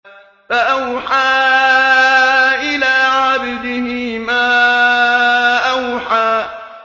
فَأَوْحَىٰ إِلَىٰ عَبْدِهِ مَا أَوْحَىٰ